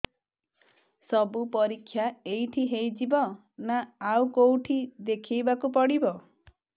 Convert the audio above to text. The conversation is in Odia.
ସବୁ ପରୀକ୍ଷା ଏଇଠି ହେଇଯିବ ନା ଆଉ କଉଠି ଦେଖେଇ ବାକୁ ପଡ଼ିବ